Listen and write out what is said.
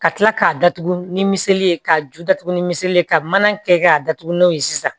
Ka kila k'a datugu ni meli ye k'a ju datugu ni miseli ye ka mana kɛ k'a datugu n'o ye sisan